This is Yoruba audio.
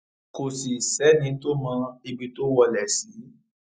kò sì sẹni tó mọ ibi tó wọlé sí